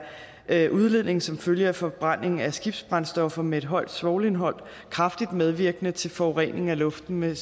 er udledning som følge af forbrænding af skibsbrændstoffer med et højt svovlindhold kraftigt medvirkende til forurening af luften med